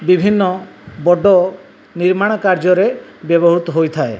ବିଭିନ୍ନ ବଡ ନିର୍ମାଣ କାର୍ଯ୍ୟରେ ବ୍ୟବହୃତ ହୋଇଥାଏ।